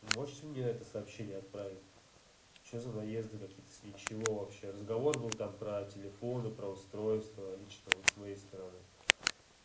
можешь мне это сообщение отправить что за наезды какие-то с ничего вообще разговор был там про телефоны про устройство лично вот с моей стороны